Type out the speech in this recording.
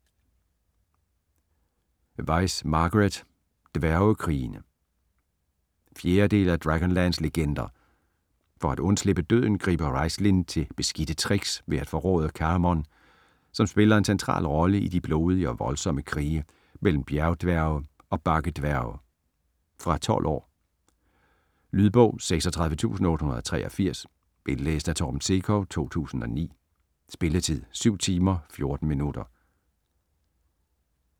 Weis, Margaret: Dværgekrigene 4. del af Dragonlance legender. For at undslippe døden griber Raistlin til beskidte tricks ved at forråde Caramon, som spiller en central rolle i de blodige og voldsomme krige mellem bjergdværge og bakkedværge. Fra 12 år. Lydbog 36883 Indlæst af Torben Sekov, 2009. Spilletid: 7 timer, 14 minutter.